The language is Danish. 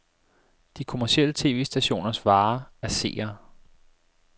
De kommercielle tv-stationers vare er seere.